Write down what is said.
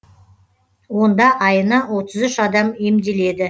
онда айына отыз үш адам емделеді